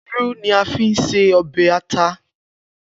Iru ni a fi ṣe ọbẹ ata.